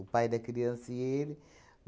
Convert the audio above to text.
O pai da criança e ele.